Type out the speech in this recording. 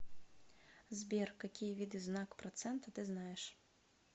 сбер какие виды знак процента ты знаешь